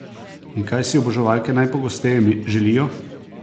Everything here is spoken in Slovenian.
In kaj si oboževalke najpogosteje želijo?